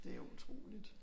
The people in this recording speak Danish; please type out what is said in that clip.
Det jo utroligt